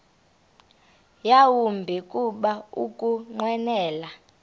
yawumbi kuba ukunqwenela